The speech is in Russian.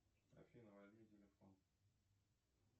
афина возьми телефон